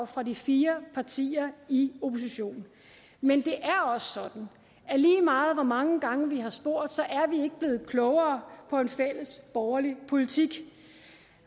fra de fire partier i oppositionen men det er også sådan at lige meget hvor mange gange vi har spurgt er vi ikke blevet klogere på hvad en fælles borgerlig politik er